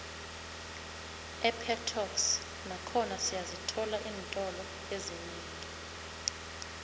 epetoxi nakhona siyazithola iintolo ezinengi